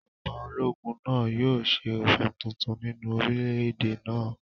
Ìjọba ológun náà yóò ṣe òfin tuntun nínú orílẹ̀-èdè náà